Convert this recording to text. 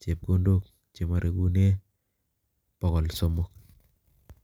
chepkondok che marekune bokol somok.